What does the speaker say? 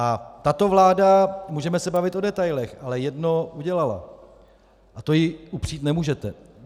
A tato vláda, můžeme se bavit o detailech, ale jedno udělala a to jí upřít nemůžete.